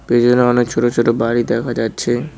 পিছনে অনেক ছোট ছোট বাড়ি দেখা যাচ্ছে।